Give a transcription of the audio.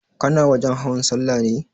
Kana wajen hawan sallah ne?